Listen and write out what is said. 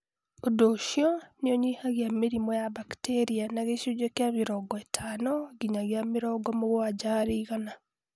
Ũndũ ũcio nĩ ũnyihanyihia mĩrimũ ya bakteria na gĩcunjĩ kĩa mĩrongo ĩtano nginyagia mĩrongo mũgwanja harĩ igana